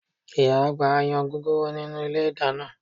Ìyá àgbà ń yan gúgúrú nínú ilé ìdáná